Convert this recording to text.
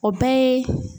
O bɛɛ ye